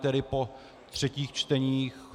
Tedy po třetích čteních.